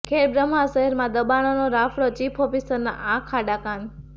ખેડબ્રહ્મા શહેરમાં દબાણોનો રાફડોઃ ચીફ ઓફીસરના આંખ આડા કાન